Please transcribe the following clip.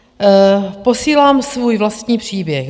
Posílám svůj vlastní příběh.